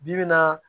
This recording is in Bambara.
Bi bi in na